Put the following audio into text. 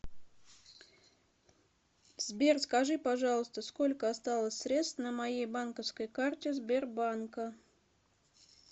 сбер скажи пожалуйста сколько осталось средств на моей банковской карте сбербанка